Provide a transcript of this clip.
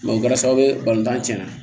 o kɛra sababu ye balontan tiɲɛna